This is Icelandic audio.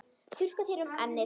Þurrkar þér um ennið.